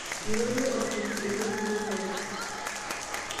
Eirorie olkingi e wueji neitore